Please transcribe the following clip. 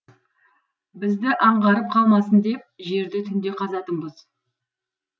бізді аңғарып қалмасын деп жерді түнде қазатынбыз